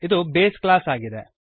ಇದು base class ಆಗಿದೆ